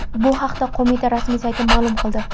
Bu haqda qo‘mita rasmiy sayti ma’lum qildi .